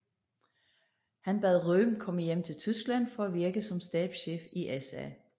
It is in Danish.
Han bad Röhm komme hjem til Tyskland for at virke som stabschef i SA